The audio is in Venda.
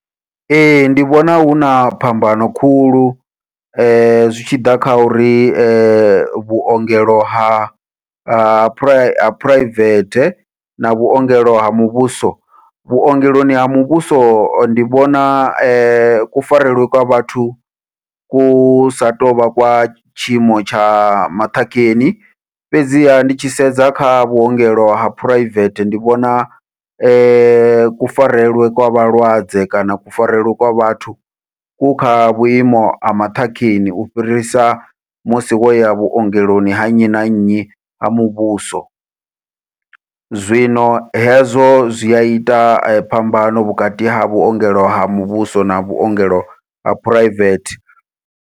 Ee ndi vhona huna phambano khulu zwi tshi ḓa kha uri, vhuongelo ha ha phuraivethe na vhuongelo ha muvhuso, vhuongeloni ha muvhuso ndi vhona kufarelwe kwa vhathu ku sa tou vha kwa tshiimo tsha maṱhakheni, fhedziha ndi tshi sedza kha vhuongelo ha phuraivethe ndi vhona kufarelwe kwa vhalwadze kana kufarelwe kwa vhathu ku kha vhuimo ha maṱhakheni, u fhirisa musi wo ya vhuongeloni ha nnyi na nnyi ha muvhuso. Zwino hezwo zwi ya ita phambano vhukati ha vhuongelo ha muvhuso na vhuongelo ha phuraivethe.